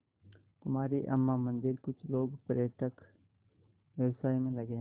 कुमारी अम्मा मंदिरकुछ लोग पर्यटन व्यवसाय में लगे हैं